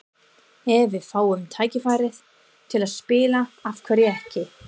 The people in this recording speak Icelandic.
Ef við fáum tækifærið til að spila, af hverju ekki?